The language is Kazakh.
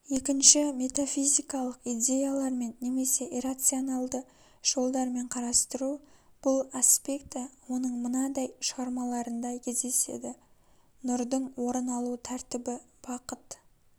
екінші метафизикалық идеялармен немесе иррацаоналды жолдармен қарастыру бұл аспекті оның мынандай шығармаларында кездеседі нұрдың орын алу тәртібі бақыт